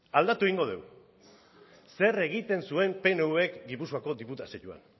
aldatu egingo dugu zer egiten zuen pnvk gipuzkoako diputazioan